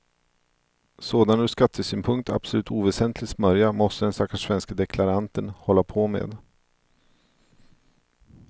Sådan ur skattesynpunkt absolut oväsentlig smörja måste den stackars svenske deklaranten hålla på med.